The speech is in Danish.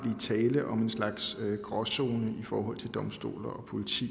kan om en slags gråzone i forhold til domstole og politi